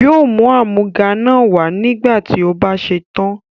Yóò mú àmúga náà wá nígbà tí ó bá ṣe tán.